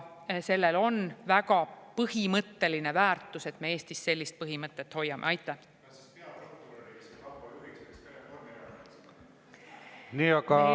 Sellel, et me Eestis sellist põhimõtet hoiame, on väga põhimõtteline väärtus.